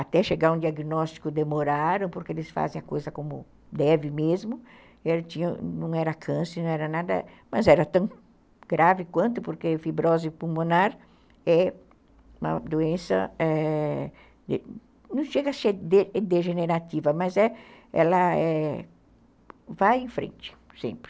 até chegar um diagnóstico demoraram, porque eles fazem a coisa como deve mesmo, não era câncer, não era nada, mas era tão grave quanto, porque fibrose pulmonar é uma doença, não chega a ser degenerativa, mas ela é, vai em frente sempre.